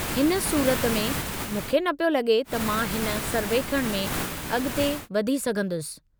हिन सूरत में मूंखे न पियो लगे॒ त मां हिन सर्वेखणु में अगि॒ते वधी सघंदुसि।